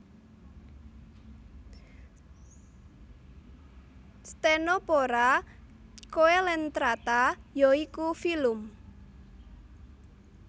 Ctenophora Coelentrata yaiku filum